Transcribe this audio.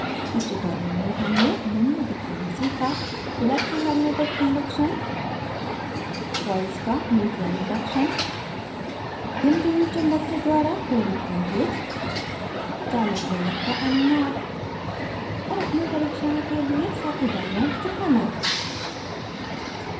इस tutorial में हमने निम्न दिखाना सीखा: